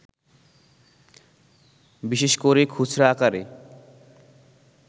বিশেষ করে খুচরা আকারে